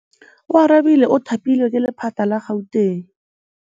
Oarabile o thapilwe ke lephata la Gauteng.